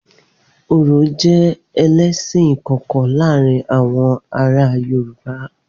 Orò jẹ́ ẹlẹ́sìn ìkọ̀kọ̀ láàárín àwọn ará Yorùbá.